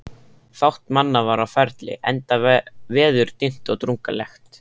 Fátt manna var á ferli, enda veður dimmt og drungalegt.